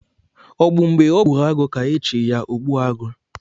Ọ bụ mgbe ọ gburu agụ ka e chi ya ogbu agụ?